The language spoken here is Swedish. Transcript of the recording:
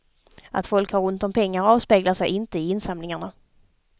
Att folk har ont om pengar avspeglar sig inte i insamlingarna.